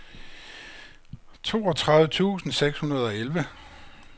toogtredive tusind seks hundrede og elleve